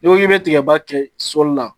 Ni ko i be tigɛba kɛ sɔli la